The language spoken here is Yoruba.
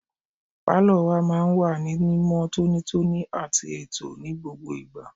Pálọ̀ wa máa ń wà ní mímọ́ tónítóní àti ètò ní gbogbo ìgbà.